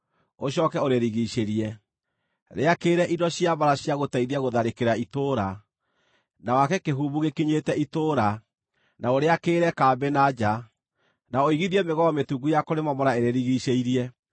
Ũcooke ũrĩrigiicĩrie: Rĩakĩrĩre indo cia mbaara cia gũteithia gũtharĩkĩra itũũra, na wake kĩhumbu gĩkinyĩte itũũra, na ũrĩakĩrĩre kambĩ na nja, na ũigithie mĩgogo mĩtungu ya kũrĩmomora ĩrĩrigiicĩirie.